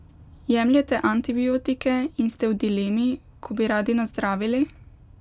Jemljete antibiotike in ste v dilemi, ko bi radi nazdravili?